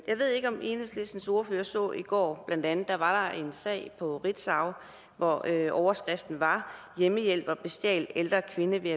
jeg ved ikke om enhedslistens ordfører så i går var en sag på ritzau hvor overskriften var hjemmehjælper bestjal ældre kvinde ved